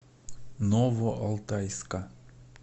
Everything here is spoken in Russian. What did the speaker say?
новоалтайска